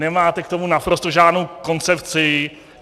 Nemáte k tomu naprosto žádnou koncepci.